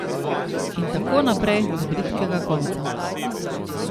In tako naprej do bridkega konca.